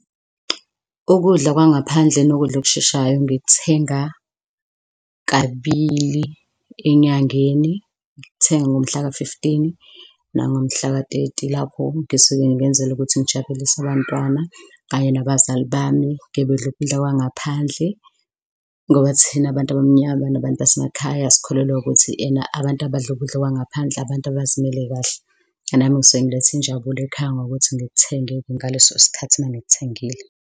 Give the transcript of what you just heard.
Ukudla kwangaphandle nokudla okusheshayo ngikuthenga kabili enyangeni, ngikuthenga ngomhlaka-fifteen nangomhlaka-thirty. Lapho ngisuke ngenzela ukuthi ngijabulise abantwana kanye nabazali bami, kebedle ukudla kwangaphandle ngoba thina abantu abamnyama nabantu basemakhaya sikholelwa ukuthi ena abantu abadla ukudla kwangaphandle abantu abazimele kahle. Nami ngisuke ngiletha injabulo ekhaya ngokuthi ngikuthenge-ke ngaleso sikhathi mangikuthengile.